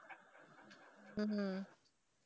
ஹம்